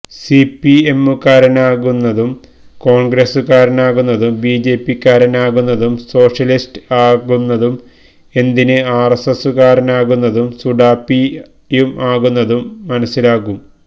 സിപിഎമ്മുകാരനാകുന്നതും കോൺഗ്രസുകാരനാകുന്നതും B J പിക്കാരൻ ആകുന്നതും സോഷ്യലിസ്റ്റ് ആകുന്നതും എന്തിനു ആർഎസ്എസ്സുകാരനും സുഡാപ്പിയും ആകുന്നതും മനസിലാകും